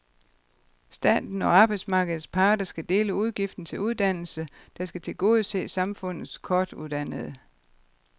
Staten og arbejdsmarkedets parter skal dele udgiften til uddannelsen, der skal tilgodese samfundets kortuddannede.